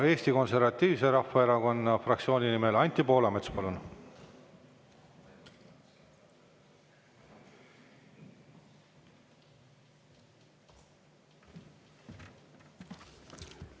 Eesti Konservatiivse Rahvaerakonna fraktsiooni nimel Anti Poolamets, palun!